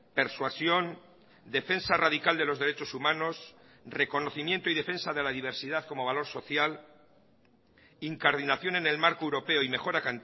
persuasión defensa radical de los derechos humanos reconocimiento y defensa de la diversidad como valor social incardinación en el marco europeo y mejora